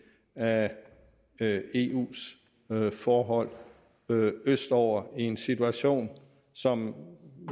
af eus forhold østover i en situation som